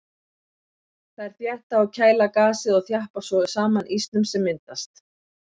Þær þétta og kæla gasið og þjappa svo saman ísnum sem myndast.